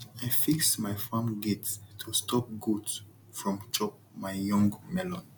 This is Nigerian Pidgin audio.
i fix my farm gate to stop goat from chop my young melon